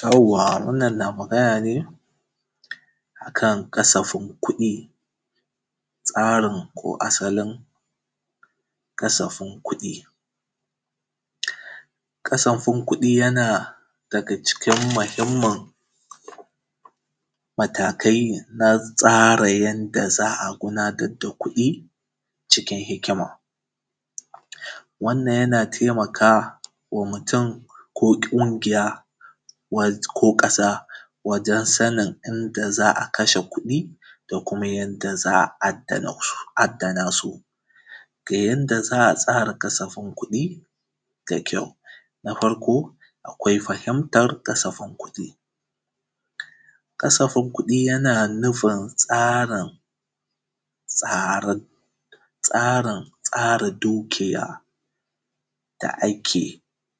Yawwa! Wannan na magana ne a kan kasafin kuɗi, tsarin ko asalin kasafin kuɗi. Kasafin kuɗi, yana daga cikin mahimmin matakai na tsara yanda za a gudanar da kuɗi cikin hikima. Wannan, yana temaka wa mutun ko ƙungiya wa; ko ƙasa wajen sanin inda za a kashe kuɗi da kuma yanda za a addana su; addana su. Ga yanda za a tsara kasafin kuɗi ga kyau, na farko, akwai fahimtar kasafin kuɗi, kasafin kuɗi, yana nufin tsarin, tsarin; tsarin tsara dukiya da ake